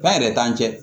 Ba yɛrɛ t'an cɛ